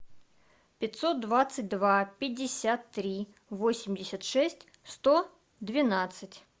пятьсот двадцать два пятьдесят три восемьдесят шесть сто двенадцать